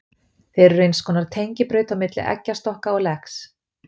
Þeir eru eins konar tengibraut á milli eggjastokka og legs.